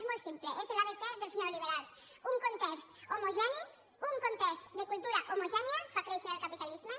és molt simple és l’abecé dels neoliberals un context homogeni un context de cultura homogènia fa créixer el capitalisme